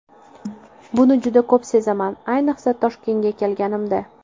Buni juda ko‘p sezaman, ayniqsa, Toshkentga kelganimda.